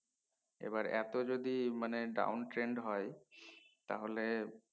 এবার তো যদি মানে down trade হয় তাহলে